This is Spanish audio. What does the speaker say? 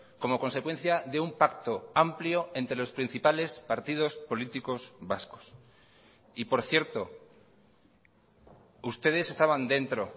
como consecuencia de un pacto amplio entre los principales partidos políticos vascos y por cierto ustedes estaban dentro